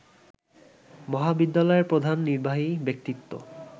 মহাবিদ্যালয়ের প্রধান নির্বাহী ব্যক্তিত্ব